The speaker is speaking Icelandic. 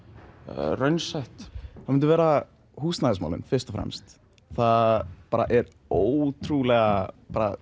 raunsætt það myndu vera húsnæðismálin fyrst og fremst það er bara ótrúlega